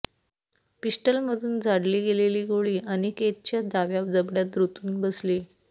पिस्टलमधून झाडली गेलेली गोळी अनिकेतच्या डाव्या जबड्यात रुतून बसली